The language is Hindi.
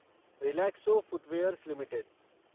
Relaxo footwears limited